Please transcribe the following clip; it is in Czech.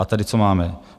A tady, co máme?